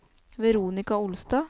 Veronika Olstad